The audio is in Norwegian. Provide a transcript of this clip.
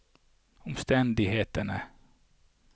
omstendighetene